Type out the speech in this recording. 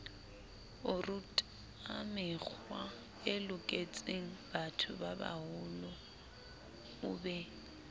orutamekgwae loketsengbatho babaholo o be